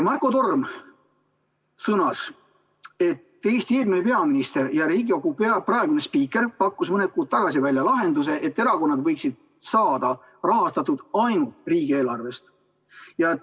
Marko Torm sõnas, et Eesti eelmine peaminister ja Riigikogu praegune spiiker pakkus mõni kuu tagasi välja lahenduse, et erakonnad võiksid saada rahastatud ainult riigieelarvest.